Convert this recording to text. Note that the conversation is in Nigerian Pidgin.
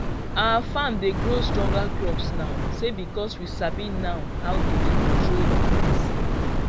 our farm dey grow stronger crops now say because we sabi now how to dey control disease